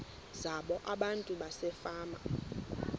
zabo abantu basefama